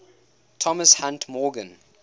thomas hunt morgan